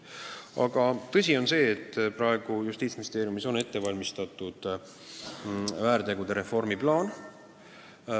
Aga tõsi on see, et praegu on Justiitsministeeriumis ette valmistatud väärtegusid puudutava reformi plaan.